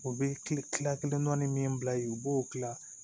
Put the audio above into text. U bɛ tila kelen dɔnni min bila ye u b'o kila